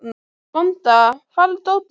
Vanda, hvar er dótið mitt?